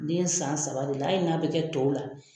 Den san saba de la, hali n'a bi kɛ tɔw la